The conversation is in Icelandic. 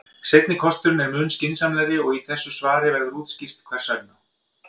Seinni kosturinn er mun skynsamlegri og í þessu svari verður útskýrt hvers vegna.